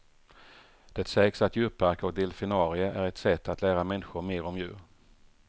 Det sägs att djurparker och delfinarier är ett sätt att lära människor mer om djur.